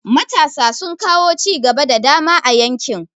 Matasa sun kawo cigaba da dama a yankin.